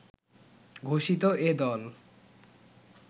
ঘোষিত এ দল